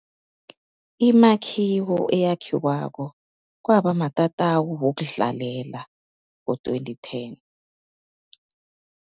Imakhiwo eyakhiwako kwabamatatawu wokudlalela ngo-twenty ten.